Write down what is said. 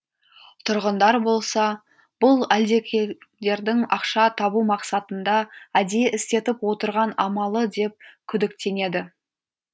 тұрғындар болса бұл әлдекимдердің ақша табу мақсатында әдейі істетіп отырған амалы деп күдіктенеді